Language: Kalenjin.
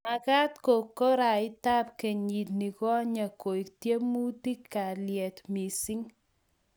magaat ko kuraitab kenyit negonye koek tyemutikab kalyet mising